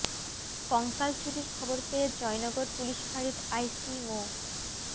কঙ্কাল চুরির খবর পেয়ে জয়নগর পুলিশ ফাঁড়ির আইসি মো